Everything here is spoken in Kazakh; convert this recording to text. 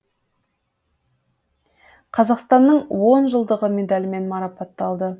қазақстанның он жылдығы медалімен мараппаталды